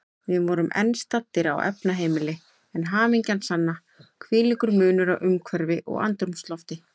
Við vorum enn staddir á efnaheimili, en hamingjan sanna, hvílíkur munur á umhverfi og andrúmslofti.